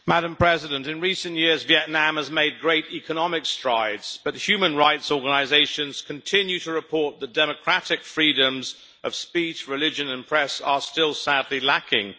Madam President, in recent years Vietnam has made great economic strides, but human rights organisations continue to report that the democratic freedoms of speech, religion and press are still sadly lacking.